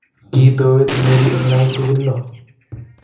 kitowet Mary eng lakok tugul lo